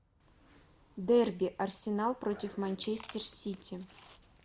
дерби арсенал против манчестер сити